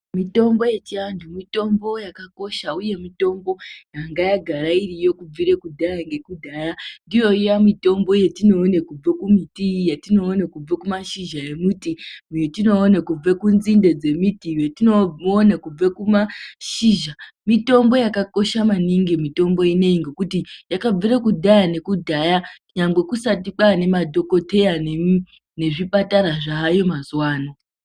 Mitombo yechiantu mitombo yakakosha, uye mitombo yanga yagara iriyo kubvire kudhaya nekudhaya, ndiyo iya mitombo yatinoone kubve kumiti, yatinoone kubve kumashizha emiti, yetione kubve kunzinde dzemiti, yetinone kubve kumashizha, mitombo yakakosha maningi, mitombo inoii, ngekuti yakabvire kudhaya nekudhaya nyangwe kusati kwaane madhokodheya nezvipatara zvaayo mazuano.